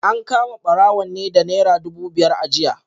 An kama barawon ne da Naira dubu biyar a jiya